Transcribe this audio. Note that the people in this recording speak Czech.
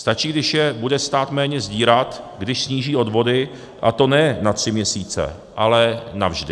Stačí, když je bude stát méně sdírat, když sníží odvody, a to ne na tři měsíce, ale navždy.